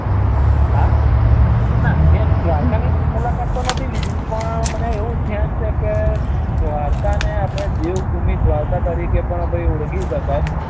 હા ના મે દ્વારકા ની તો મુલાકાત નથી લીધીં પણ મને એવું ધ્યાન છે ક દ્વારકા ને આપડે દેવભૂમિ દ્વારકા તરીઓળખી સકાય.